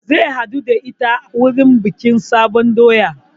Zai haɗu da ita wajen bikin sabon doya